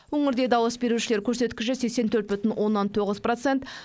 өңірде дауыс берушілер көрсеткіші сексен төрт бүтін оннан тоғыз процент